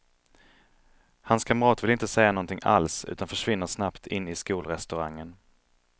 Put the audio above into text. Hans kamrat vill inte säga någonting alls utan försvinner snabbt in i skolrestaurangen.